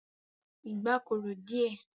Ìgbá korò díẹ̀.